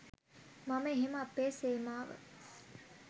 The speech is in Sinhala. මම එහෙම අපේ සේනාව